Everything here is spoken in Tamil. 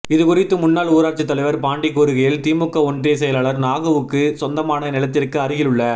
இது குறித்து முன்னால் ஊராட்சி தலைவர் பாண்டி கூறுகையில் திமுக ஒன்றிய செயலாளர் நாகுவுக்கு சொந்தமான நிலத்திற்கு அருகில் உள்ள